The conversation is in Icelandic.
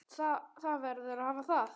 Það verður að hafa það.